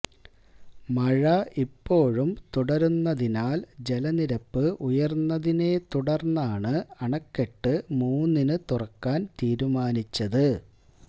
മഴ ഇപ്പോഴും തുടര്ന്നതിനാല് ജലനിരപ്പ് ഉയര്ന്നതിനെ തുടര്ന്നാണ് അണക്കെട്ട് മൂന്നിന് തുറക്കാന് തീരുമാനിച്ചത്